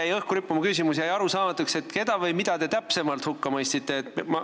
Aga õhku jäi rippuma üks küsimus: mulle jäi arusaamatuks, keda või mida te täpsemalt hukka mõistsite.